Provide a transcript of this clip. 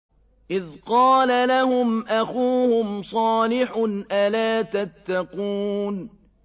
إِذْ قَالَ لَهُمْ أَخُوهُمْ صَالِحٌ أَلَا تَتَّقُونَ